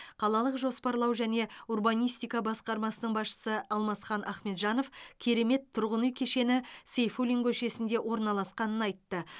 қалалық жоспарлау және урбанистика басқармасының басшысы алмасхан ахмеджанов керемет тұрғын үй кешені сейфуллин көшесінде орналасқанын айтты